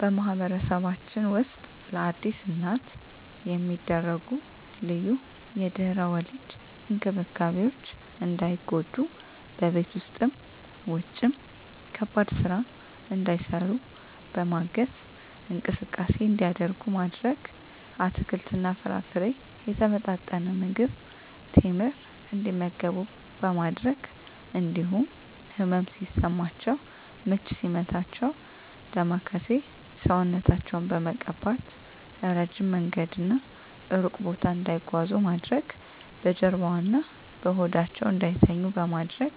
በማህበረሰባችን ውስጥ ለአዲስ እናት የሚደረጉ ልዩ የድህረ ወሊድ እንክብካቤዎች እንዳይጎዱ በቤት ውስጥም ውጭም ከባድ ስራ እንዳይሰሩ በማገዝ፣ እንቅስቃሴ እንዲያደርጉ ማድረግ፣ አትክልትና ፍራፍሬ፣ የተመጣጠነ ምግብ፣ ቴምር እንዲመገቡ በማድረግ እንዲሁም ህመም ሲሰማቸው ምች ሲመታቸው ዳማከሴ ሰውነታቸውን በመቀባት፣ እረጅም መንገድና እሩቅ ቦታ እንዳይጓዙ ማድረግ፣ በጀርባዋ እና በሆዳቸው እንዳይተኙ በማድረግ፣